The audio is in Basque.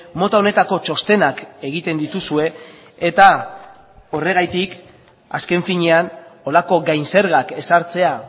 mota honetako txostenak egiten dituzue eta horregatik azken finean horrelako gain zergak ezartzea